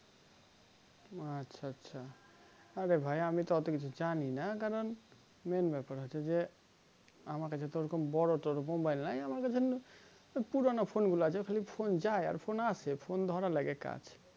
আচ্ছা আচ্ছা আরে ভাই আমি তো ওতো কিছু জানিনা কারণ main ব্যাপার হচ্ছে যে আমার কাছে তো ওরকম বোরো তোরো mobile নাই আমার কাছে পুরোনো phone গুলো আছে খালি phone যাই আর phone আসে phone ধারার লেগে কাজ